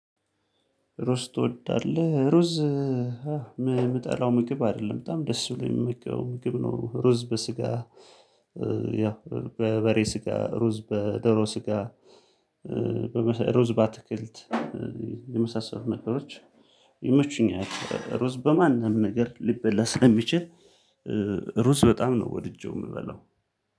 ሩዝ ትወዳለህ ሩዝ የምጠላው ምግብ አይደለም በጣም ደስ ብሎኝ የምመገበው ምግብ ነው። ሩዝ በስጋ ያው በበሬ ስጋ ሩዝ በደሮ ስጋ ሩዝ ባትክልት የመሳሰሉ ነገሮች ይመቹኛል። ሩዝ በማንም ነገር ሊበላ ስለሚችል። ሩዝ በጣም ነው ወድጄው የምበለው